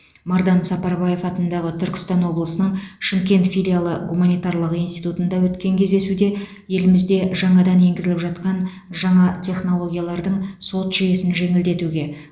мардан сапарбаев атындағы түркістан облысының шымкент филиалы гуманитарлық институтында өткен кездесуде елімізде жаңадан еңгізіліп жатқан жаңа технологиялардың сот жүйесін жеңілдетуге